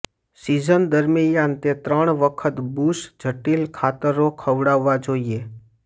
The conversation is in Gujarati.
સીઝન દરમિયાન તે ત્રણ વખત બુશ જટિલ ખાતરો ખવડાવવા જોઇએ